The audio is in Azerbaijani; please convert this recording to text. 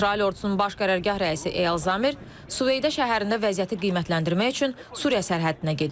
İsrail ordusunun baş qərargah rəisi Eyal Zamir Süveyda şəhərində vəziyyəti qiymətləndirmək üçün Suriya sərhədinə gedib.